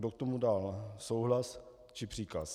Kdo k tomu dal souhlas či příkaz?